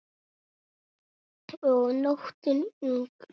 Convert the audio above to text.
Og nóttin ung.